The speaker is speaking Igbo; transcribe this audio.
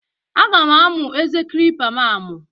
Aga m amụ eze kilipa m amụ.